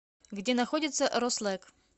где находится рослек